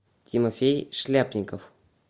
тимофей шляпников